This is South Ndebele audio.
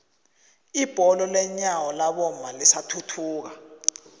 ibholo lenyawo labomma lisathuthuka